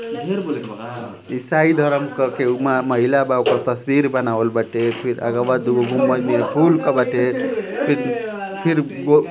इसाई धर्म करके उमा महिला बा ओकर तसवीर बनावाल बाटे। फिर अगवा दूगो गुम्बद नियर फूल क बाटे। फिर फिर गो --